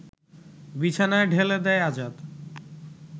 বিছানায় ঢেলে দেয় আজাদ